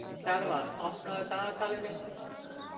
Kjarval, opnaðu dagatalið mitt.